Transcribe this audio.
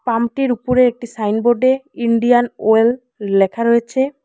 পাম্পটির উপরে একটি সাইনবোর্ডে ইন্ডিয়ান ওয়েল লেখা রয়েছে।